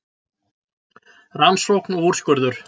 Rannsókn og úrskurður